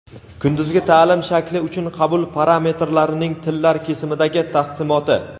Kunduzgi ta’lim shakli uchun qabul parametrlarining tillar kesimidagi taqsimoti.